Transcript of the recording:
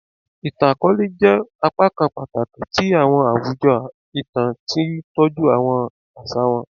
Ìtàn àkọlé jẹ́ á pákan pàtàkì ti àwọn àwùjọ itan, tí tọju àwọn àṣà wọn